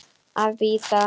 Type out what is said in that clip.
Að bíta.